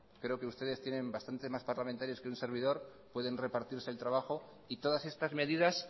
creo que ustedes tienen bastantes más parlamentarios que un servidor pueden repartirse el trabajo y todas estas medidas